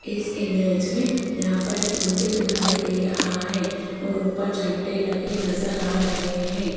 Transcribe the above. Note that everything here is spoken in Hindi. इस इमेज में यहां पर एक मंदिर दिखाई दे रहा है और ऊपर झंडे लगे नजर आ रहे हैं।